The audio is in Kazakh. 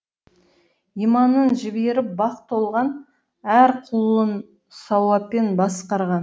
иманын жіберіп бақ толған әр құлын сауаппен басқарған